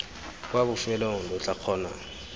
kwa bofelong lo tla kgona